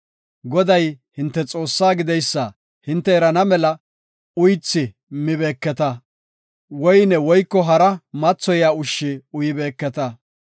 Goday, hinte Xoossaa gideysa hinte erana mela uythi mibeeketa; woyne woyko hara mathoyiya ushshi uyibeeketa.